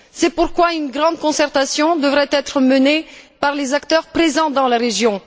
C'est pourquoi une grande concertation devrait être menée par les acteurs présents dans la région.